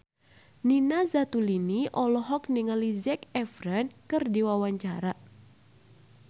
Nina Zatulini olohok ningali Zac Efron keur diwawancara